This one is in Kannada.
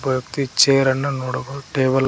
ಒಬ್ಬ ವ್ಯಕ್ತಿ ಚೇರ ಅನ್ನ ನೋಡಬಹುದು ಟೇಬಲ್ --